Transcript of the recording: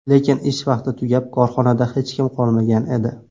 Lekin ish vaqti tugab, korxonada hech kim qolmagan edi.